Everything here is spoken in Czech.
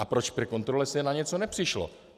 A proč při kontrole se na něco nepřišlo?